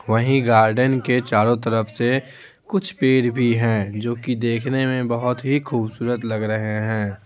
वहीं गार्डन के चारों तरफ से कुछ पेड़ भी हैं जो कि देखने में बहुत ही खूबसूरत लग रहे हैं।